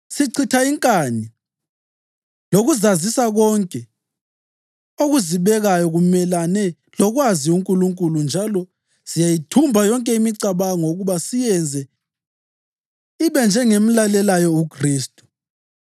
Sichitha inkani lokuzazisa konke okuzibekayo kumelane lokwazi uNkulunkulu njalo siyayithumba yonke imicabango ukuba siyenze ibe ngemlalelayo uKhristu.